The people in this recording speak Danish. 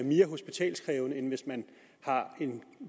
mere hospitalskrævende end hvis man har en